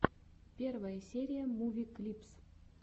первая серия муви клипс